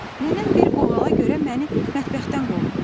Nənəm bir qoğala görə məni mətbəxdən qovdu.